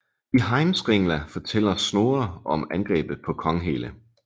I Heimskringla fortæller Snorre om angrebet på Konghelle